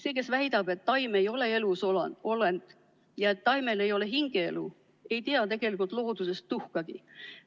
See, kes väidab, et taim ei ole elusolend ja et taimel ei ole hingeelu, ei tea tegelikult loodusest tuhkagi.